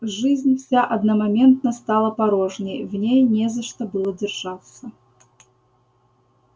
жизнь вся одномоментно стала порожней в ней не за что было держаться